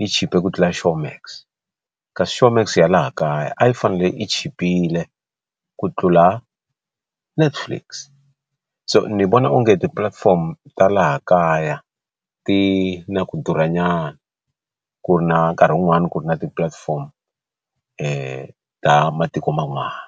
yi chipe ku tlula Showmax kasi Showmax ya laha kaya a yi fanele yi chipile ku tlula Netflix so ni vona onge ti platform ta laha kaya ti na ku durha nyana ku ri na nkarhi wun'wani ku ri na ti platform ta matiko man'wana.